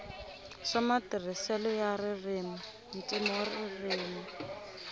swa matirhiselo ya ririmi ntivoririmi